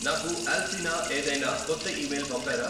నాకు అల్ఫీనా ఏదైనా కొత్త ఈమెయిల్ పంపారా